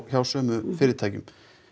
hjá sömu fyrirtækjum